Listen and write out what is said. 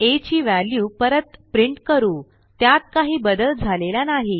आ ची वॅल्यू परत प्रिंट करू त्यात काही बदल झालेला नाही